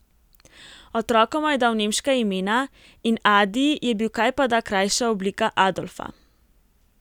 Otrokoma je dal nemška imena, in Adi je bil kajpada krajša oblika Adolfa.